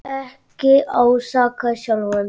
Ekki ásaka sjálfan þig.